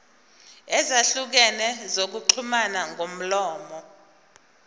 ezahlukene zokuxhumana ngomlomo